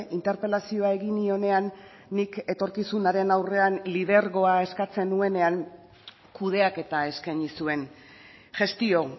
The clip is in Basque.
interpelazioa egin nionean nik etorkizunaren aurrean lidergoa eskatzen nuenean kudeaketa eskaini zuen gestio